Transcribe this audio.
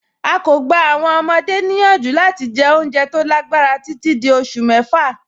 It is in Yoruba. À kọ́ gbà àwọn ọmọde niyanju lati jẹ́ ọ̀unjẹ́ tó lágbarà tití dí ọṣù mẹ́fà.